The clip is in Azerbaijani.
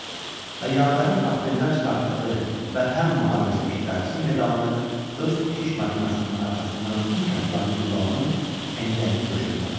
Və yavərin portfeldən çıxartdığı Vətən Müharibəsi iştirakçısı medalını öz tikiş maşınının arxasından dik atılan Gülbalanın pencəyinin döşünə taxdı.